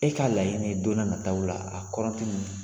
E ka layini ye don na nataw la